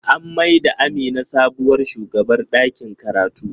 An mai da Amina sabuwar shugabar ɗakin karatu.